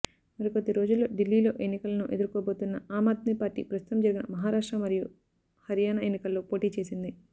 మరికొద్ది రోజుల్లో ఢిల్లీలో ఎన్నికలను ఎదుర్కోబోతున్న అమ్ఆద్మీ పార్టీ ప్రస్తుతం జరిగిన మహారాష్ట్ర మరియు హర్యాన ఎన్నికల్లో పోటీ చేసింది